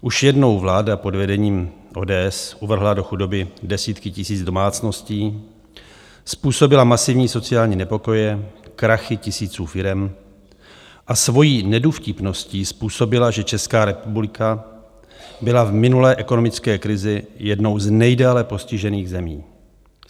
Už jednou vláda pod vedením ODS uvrhla do chudoby desítky tisíc domácností, způsobila masivní sociální nepokoje, krachy tisíců firem a svojí nedůvtipností způsobila, že Česká republika byla v minulé ekonomické krizi jednou z nejdéle postižených zemí.